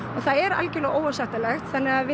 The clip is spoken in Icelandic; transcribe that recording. og það er algjörlega óásættanlegt við